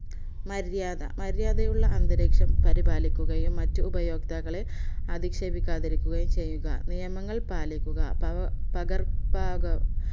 മര്യാദ മര്യാദയുള്ള അന്തരീക്ഷം പരിപാലിക്കുകയും മറ്റ്ഉപയോക്താക്കളെ അധിക്ഷേപിക്കാതിരിക്കുകയും ചെയ്യുക നിയമങ്ങൾ പാലിക്കുക പക പകർപ്പക